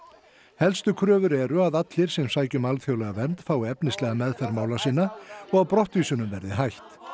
helstu kröfur eru að allir sem sækja um alþjóðlega vernd fái efnislega meðferð mála sinna og að brottvísunum verði hætt